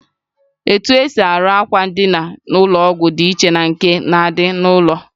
Etu esi arụ akwa ndina ụlọ ọgwụ dị iche na nke na-adị n'ụlọ.